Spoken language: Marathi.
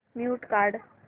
म्यूट काढ